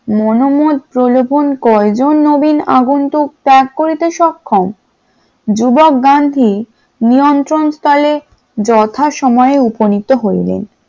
মনোমত প্রলোভন কয়জন নবীন আগন্তুক ত্যাগ করিতে সক্ষম যুবক গান্ধী নিয়ন্ত্রণ স্থল যথা সময় উপনীত হইলেন ।